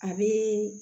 A bɛ